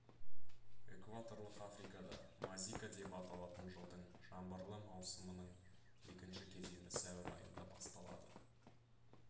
экваторлық африкада мазика деп аталатын жылдың жаңбырлы маусымының екінші кезеңі сәуір айында басталады